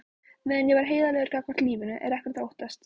Meðan ég er heiðarlegur gagnvart lífinu er ekkert að óttast.